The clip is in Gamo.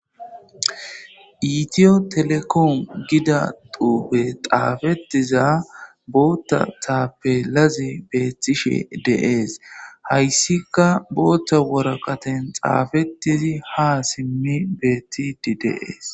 Iitiyo telekoom gida duube xaafetiza bootta taappe lazi beettishe deees hayssika bootta woraqaten xaafetizi ha simmi beettidi deees.